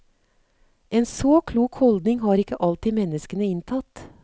En så klok holdning har ikke alltid menneskene inntatt.